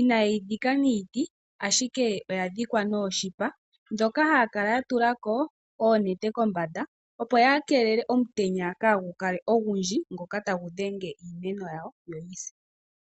ina yeyi dhika niiti ashike oyadhikwa nooshipa ndhoka haya kala ya tulako oonete kombanda opo ya keelele omutenya kaagu kale ogundji ngoka tagu dhenge iimeno.